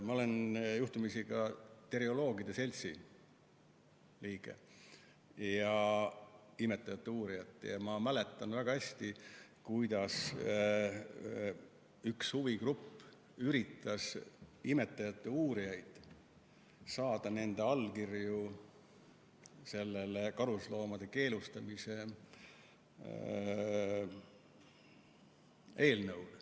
Ma olen juhtumisi ka terioloogide seltsi liige, imetajate uurijate seltsi liige, ja ma mäletan väga hästi, kuidas üks huvigrupp üritas imetajate uurijatelt saada allkirju karusloomafarmide keelustamise eelnõule.